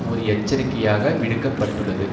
ஒரு எச்சரிக்கையாக விடுக்க பட்டுள்ளது